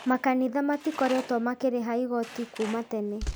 Makanitha matikoretwo makĩrĩha igoti kuuma tene